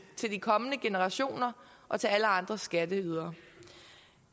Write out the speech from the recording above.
til de kommende generationer og til alle andre skatteydere